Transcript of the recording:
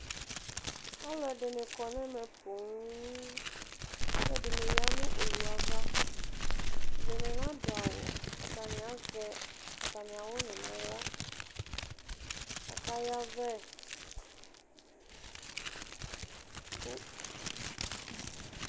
Alʋ ɛdibi kɔ nʋ ɛmɛ pooo, k'ɛdini ya nʋ owu ava, ɛdini na dʋ awʋ, atani azɛ atami awʋni n'aɣla, aka yavɛ